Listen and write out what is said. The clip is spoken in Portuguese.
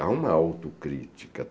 Há uma autocrítica.